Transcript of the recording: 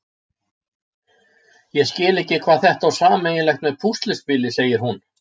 Ég skil ekki hvað þetta á sameiginlegt með púsluspili, segir hún.